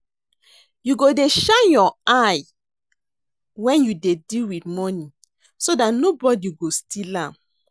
You go dey shine your eye wen you dey deal with money so dat nobody got steal am